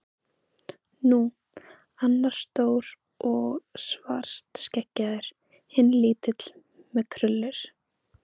Nú. annar var stór og svartskeggjaður. hinn lítill með krullur.